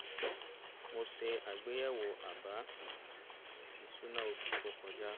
mo ṣe àgbéyẹ̀wò àbá-ìṣúná oṣù tó kọjá